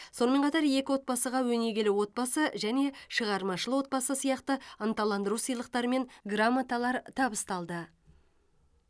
сонымен қатар екі отбасыға өнегелі отбасы және шығармашыл отбасы сияқты ынталандыру сыйлықтары мен грамоталар табысталды